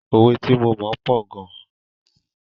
Òwe tí mo mọ̀ pọ̀ gan.